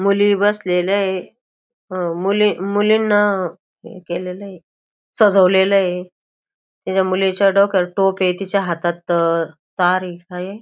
मुली बसलेल्याय अ मुली मुलींना हे केलेलय सजवलेलय त्या मुलीच्या डोक्यावर टोपय तिच्या हाथात तारय काये --